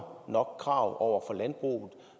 nok krav over for landbruget